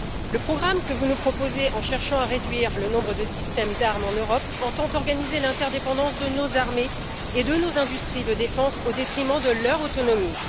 Le programme que vous nous proposez, en cherchant à réduire le nombre de systèmes d'armes en Europe, entend organiser l'interdépendance de nos armées et de nos industries de défense au détriment de leur autonomie.